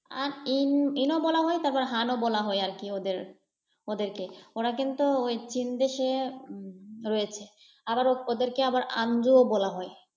আর ইন ইনও বলা হয় তারপর হানও বলা হয় আর কি ওদের, ওদেরকে। ওরা কিন্তু ওই চিন দেশে রয়েছে, আবারও ওদেরকে আবার আন্দুও বলা হয়।